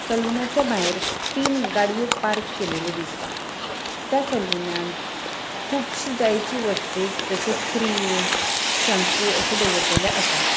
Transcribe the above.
सलूनाच्या भायर तिन गाड़ियों पार्क केलेल्यो दिसता त्या सलूनान कूबषि जायशि वस्तू जशि क्रीम शैम्पू अशे दवरलेले आसा.